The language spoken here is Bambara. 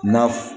Na f